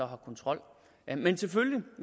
har kontrol men selvfølgelig